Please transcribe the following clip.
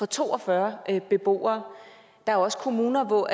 to og fyrre beboere der er også kommuner hvor